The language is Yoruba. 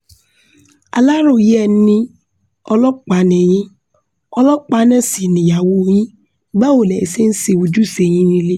Alaroye ẹ ni ọlọpa ni yin ọlọpa naa si niyawo yin, bawo lẹ see se oju-ise yin nile